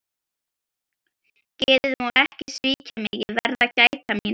Geðið má ekki svíkja mig, ég verð að gæta mín.